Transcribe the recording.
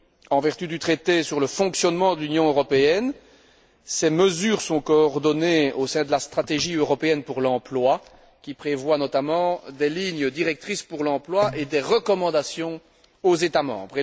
En vertu du traité sur le fonctionnement de l'Union européenne, ces mesures sont coordonnées au sein de la stratégie européenne pour l'emploi, qui prévoit notamment des lignes directrices pour l'emploi et des recommandations aux États membres.